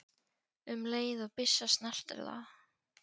um leið og byssa snertir það.